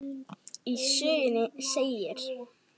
Í sögunni segir: